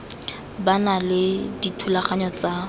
ba na le dithulaganyo tsa